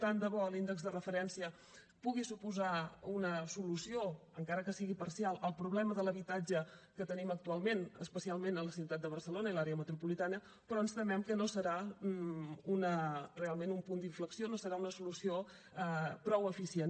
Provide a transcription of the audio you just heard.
tant de bo l’índex de referència pugui suposar una solució encara que sigui parcial al problema de l’habitatge que tenim actualment especialment a la ciutat de barcelona i a l’àrea metropolitana però ens temem que no serà realment un punt d’inflexió no serà una solució prou eficient